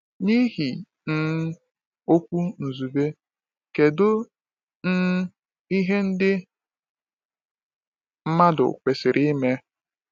N’ihi um okwu Nzube, kedu um ihe ndị mmadụ kwesịrị ime?